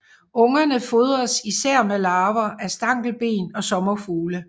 Ungerne fodres især med larver af stankelben og sommerfugle